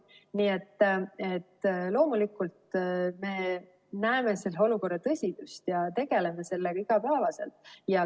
Nii et loomulikult me näeme selle olukorra tõsidust ja tegeleme sellega igapäevaselt.